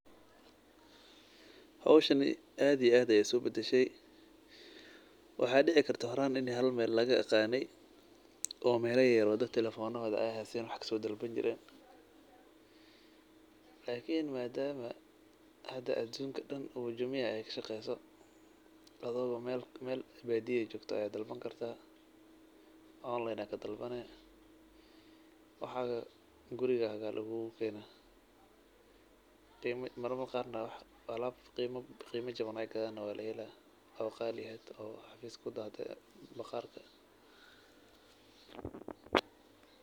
Hoshani ad ee aad iskubadshe waxa kidici karta horaan halmeel lagiyaqane oo mela yaryar oo daad telephone oo haysteen wax kaso dalbanjireen lakin madama hada adunka daan ay jumia ay kashageso adigo meel baadi eeh aa dalbani kartaa online aa kadalbani waxa lagukukena gurigaa marmar qaar na alaab qiima jawan aay gadhan oo walaheela oo qali eeh hada oo xafiska kudahde .